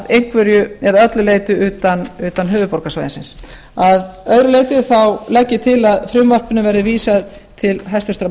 einhverju eða öllu leyti utan höfuðborgarsvæðisins að öðru leyti legg ég til að frumvarpinu verði vísað til háttvirtrar menntamálanefndar